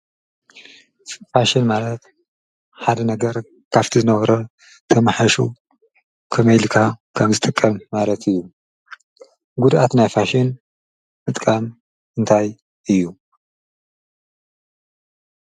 ፍሽን ማለት ሓደ ነገር ካብ ዝነበሮ ተመሓይሹ ከመይ ጌርካ ከም ዝጥቀም ማለት እዪ ጉድአት ናይ ፍሽን ምጥቃም እንታይ እዪ?